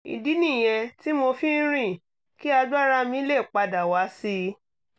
ìdí nìyẹn tí mo fi ń rìn kí agbára mi lè pa dà wá sí i